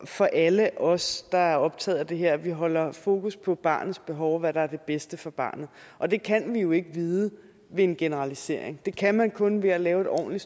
for alle os der er optaget af det her er at vi holder fokus på barnets behov og hvad der er det bedste for barnet og det kan vi jo ikke vide ved en generalisering det kan man kun ved at lave en ordentlig